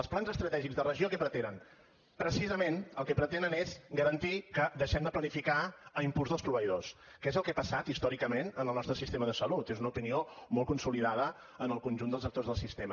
els plans estratègics de regió què pretenen precisament el que pretenen és garantir que deixem de planificar a impuls dels proveïdors que és el que ha passat històricament en el nostre sistema de salut és una opinió molt consolidada en el conjunt dels actors del sistema